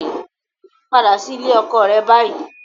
Padà sí ilé ọkọ rẹ báyìí